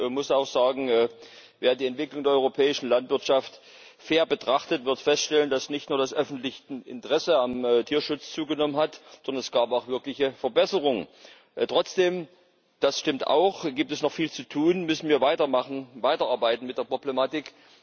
Ich muss auch sagen Wer die Entwicklung der europäischen Landwirtschaft fair betrachtet, wird feststellen, dass nicht nur das öffentliche Interesse am Tierschutz zugenommen hat, sondern es gab auch wirkliche Verbesserungen. Trotzdem das stimmt auch, hier gibt es noch viel zu tun müssen wir weitermachen, weiterarbeiten mit der Problematik.